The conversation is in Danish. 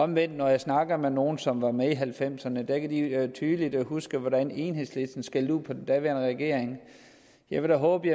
men når jeg snakker med nogle som var med i nitten halvfemserne kan de tydeligt huske hvordan enhedslisten skældte ud på den daværende regering jeg vil da håbe